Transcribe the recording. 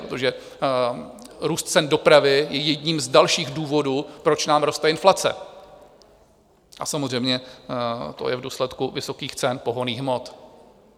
Protože růst cen dopravy je jedním z dalších důvodů, proč nám roste inflace, a samozřejmě to je v důsledku vysokých cen pohonných hmot.